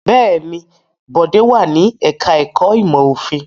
Bẹ́ẹ̀ ni, Bọ̀dé wà ní ẹ̀ka-ẹ̀kọ́ ìmọ̀-òfin.